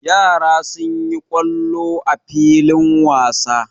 Yara sun yi kwallo a filin wasa.